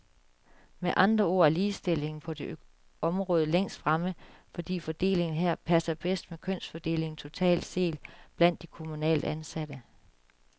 Med andre ord er ligestillingen på det område længst fremme, fordi fordelingen her passer bedst med kønsfordelingen totalt set blandt de kommunalt ansatte.